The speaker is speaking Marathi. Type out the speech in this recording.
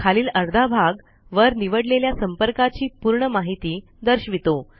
खालील अर्धा भाग वर निवडलेल्या संपर्काची पूर्ण माहिती दर्शवितो